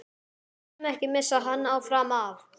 BÆNUM, EKKI MISSA HANN FRAM AF!